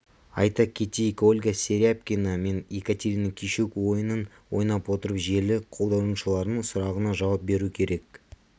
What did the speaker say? айта кетейік ольга серябкина мен екатерина кищук ойынын ойнап отырып желі қолданушыларының сұрағына жауап беру керек